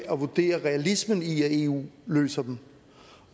at vurdere realismen i om eu løser dem